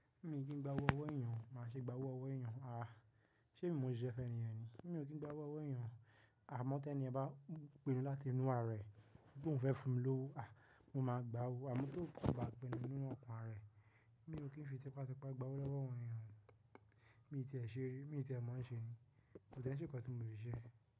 Mi ò kín gbá owó ọwọ́ èèyàn, máa ṣe gbá owó ọwọ́ èèyàn. À, ṣé emi ni mò ṣe ise fun ẹniyen ni? Mi ò kín gbá owó ọwọ́ èèyàn o Àmọ́ tí ẹni bá pinu láti inú ara rẹ̀, bí òun fẹ́ fún mi lówó, à, mo máa gbá owó. Àmọ́ tó kò bá pinu nínú ọkàn rẹ̀, mi ò kín fi tẹpátẹpá gbá owó lọ́wọ́ àwọn èèyàn. Mi ò tíì e ṣe rí, mi ò tíì e mọ̀ ọ́n ṣe ni, kò tii e ṣe nǹkan tí mò le ṣe.